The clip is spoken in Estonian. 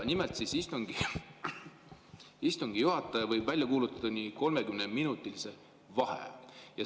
Nimelt, istungi juhataja võib välja kuulutada 30-minutilise vaheaja.